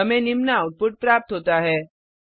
हमें निम्न आउटपुट प्राप्त होता है